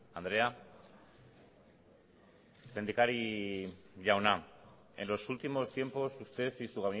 andrea lehendakari jauna en los últimos tiempos usted y su